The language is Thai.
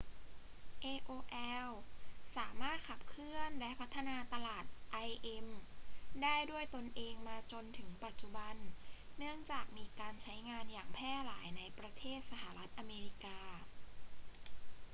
aol สามารถขับเคลื่อนและพัฒนาตลาด im ได้ด้วยตนเองมาจนถึงปัจจุบัน เนื่องจากมีการใช้งานอย่างแพร่หลายในประเทศสหรัฐอเมริกา